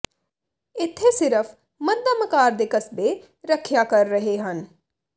ਇੱਥੇ ਸਿਰਫ ਮੱਧਮ ਆਕਾਰ ਦੇ ਕਸਬੇ ਰੱਖਿਆ ਕਰ ਰਹੇ ਹਨ